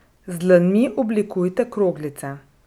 Z dlanmi oblikujte kroglice.